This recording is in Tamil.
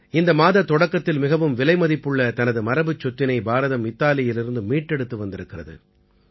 இந்த மாதத் தொடக்கத்தில் மிகவும் விலைமதிப்புள்ள தனது மரபுச்சொத்தினை பாரதம் இத்தாலியிலிருந்து மீட்டெடுத்து வந்திருக்கிறது